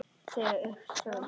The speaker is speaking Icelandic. Þegar upp er staðið?